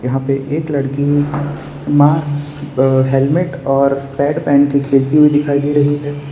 आप देखिए एक लड़की मास्क अह हेलमेट और पैड पहन के खेलती हुई दिखाई दे रही है।